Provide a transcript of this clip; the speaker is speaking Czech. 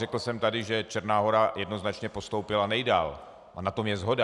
Řekl jsem tady, že Černá Hora jednoznačně postoupila nejdál, a na tom je shoda.